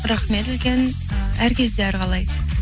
рахмет үлкен і әр кезде әр қалай